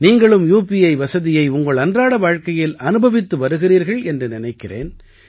நீங்களும் யூபிஐ வசதியை உங்கள் அன்றாட வாழ்க்கையில் அனுபவித்து வருகிறீர்கள் என்று நினைக்கிறேன்